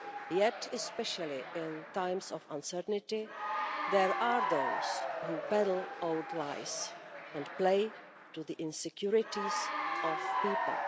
Yet, especially in times of uncertainty, there are those who peddle old lies and play to the insecurities of people.